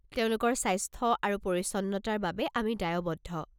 তেওঁলোকৰ স্বাস্থ্য আৰু পৰিচ্ছন্নতাৰ বাবে আমি দায়বদ্ধ।